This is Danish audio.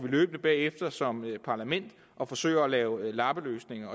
løbende bagefter som parlament og forsøger at lave lappeløsninger